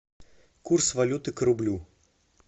курс валюты к рублю